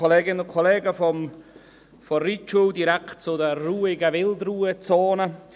Von der Reithalle kommen wir direkt zu den ruhigen Wildruhezonen.